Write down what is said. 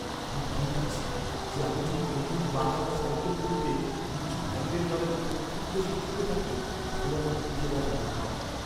আমি ভয় পাচ্ছি যে আমি যদি নতুন বাঁকানো সাইকেলগুলোতে নিচু হ্যান্ডেলবারের উপর খুব বেশি ঝুঁকে থাকি তাহলে আমার পিঠে ব্যথা হতে পারে।